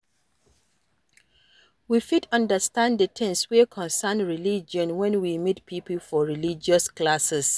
We fit undersand the things wey concern religion when we meet pipo for religious classes